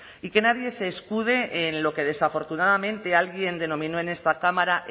y que nadie se escude en lo que desafortunadamente alguien denominó en esta cámara